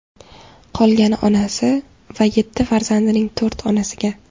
Qolgani onasi va yetti farzandining to‘rt onasiga.